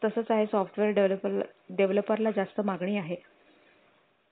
तसंच आहे software developer developer ला जास्त मागणी आहे